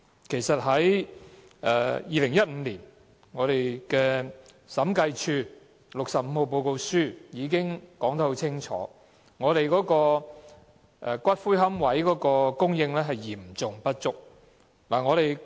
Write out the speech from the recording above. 其實 ，2015 年《審計署署長第六十五號報告書》已清楚說明，龕位的供應嚴重不足。